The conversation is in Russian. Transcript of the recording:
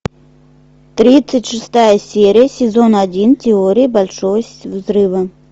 тридцать шестая серия сезон один теория большого взрыва